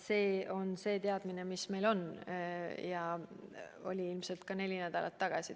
See on teadmine, mis meil on ja oli ilmselt teil ka neli nädalat tagasi.